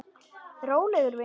Rólegur vinur!